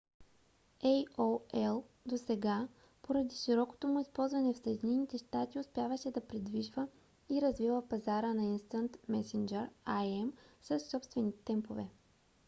aol досега поради широкото му използване в съединените щати успяваше да придвижва и развива пазара на instant messenger im със собствени темпове